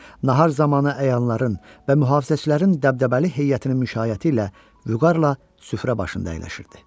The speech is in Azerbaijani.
Nahar zamanı əyanların və mühafizəçilərin dəbdəbəli heyətinin müşayəti ilə vüqarla süfrə başında əyləşirdi.